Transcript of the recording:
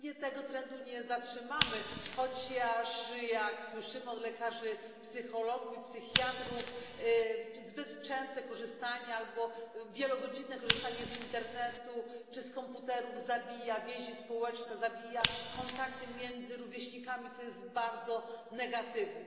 I pewnie tego trendu nie zatrzymamy, chociaż jak słyszymy od lekarzy, psychologów i psychiatrów zbyt częste albo wielogodzinne korzystanie z internetu czy z komputerów zabija więzi społeczne, zabija kontakty między rówieśnikami, co jest bardzo negatywne.